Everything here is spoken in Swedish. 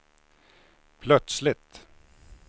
plötsligt